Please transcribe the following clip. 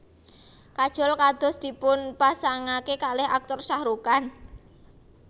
Kajol kados dipunpasangake kalih Aktor Shahrukh Khan